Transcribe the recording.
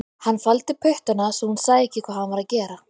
Hann faldi puttana svo hún sæi ekki hvað hann var að gera